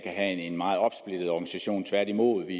have en meget opsplittet organisation tværtimod vi